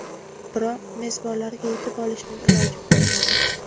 Biroq mezbonlarga yetib olishning iloji bo‘lmadi.